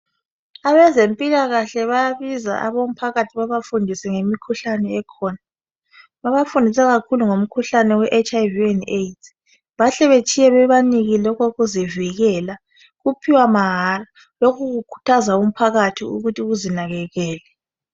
Abezempilakahle bayabiza abomphakathi babafundise ngemikhuhlane ekhona babafundisa kakhulu ngomkhuhlane weHiv and Aids bahle betshiye bebanikile okokuzivikela baphiwa mahala lokhu kukhuthaza umphakathi ukuthi uzinakekele.